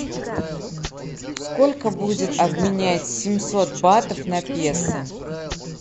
сколько будет обменять семьсот батов на песо